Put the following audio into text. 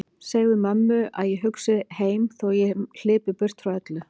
Segðu mömmu að hugsi ég heim þó hlypi ég burt öllu frá.